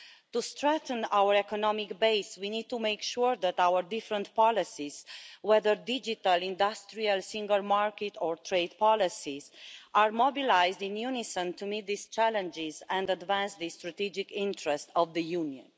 To strengthen our economic base, we need to make sure that our different policies, whether digital, industrial, single market or trade policies, are mobilised in unison to meet these challenges and advance the strategic interests of the Union.